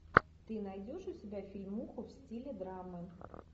ты найдешь у себя фильмуху в стиле драмы